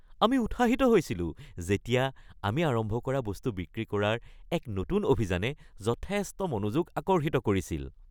আমি উৎসাহিত হৈছিলোঁ যেতিয়া আমি আৰম্ভ কৰা বস্তু বিক্ৰী কৰাৰ এক নতুন অভিযানে যথেষ্ট মনোযোগ আকৰ্ষিত কৰিছিল।